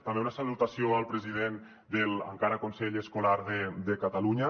també una salutació al president de l’encara consell escolar de catalunya